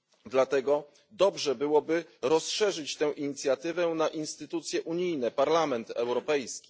Dlatego dobrze byłoby rozszerzyć tę inicjatywę na instytucje unijne, Parlament Europejski.